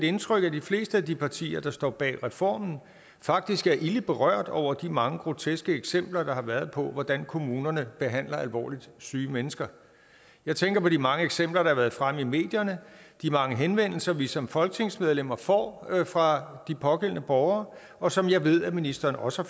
indtryk at de fleste af de partier der står bag reformen faktisk er ilde berørt over de mange groteske eksempler der har været på hvordan kommunerne behandler alvorligt syge mennesker jeg tænker på de mange eksempler der har været fremme i medierne de mange henvendelser vi som folketingsmedlemmer får fra de pågældende borgere og som jeg ved at ministeren også